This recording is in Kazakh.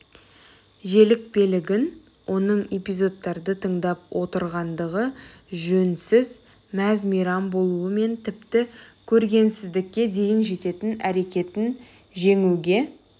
желікпелігін оның эпизодтарды тыңдап отырғандағы жөнсіз мәз-мейрам болуы мен тіпті көргенсіздікке дейін жететін әрекетін жеңуге